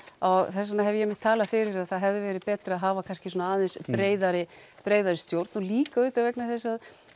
þess vegna hef ég einmitt talað fyrir að það hefði verið betra að hafa kannski aðeins breiðari breiðari stjórn og líka auðvitað vegna þess að